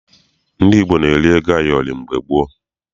Ndị Igbo na-eri ego ayọrị mgbe gboo.